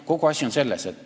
Kogu asi on selles.